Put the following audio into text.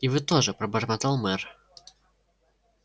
и вы тоже пробормотал мэр